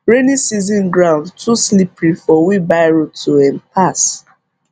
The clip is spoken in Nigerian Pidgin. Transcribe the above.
rainy season ground too slippery for wheelbarrow to um pass